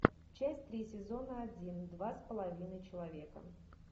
часть три сезона один два с половиной человека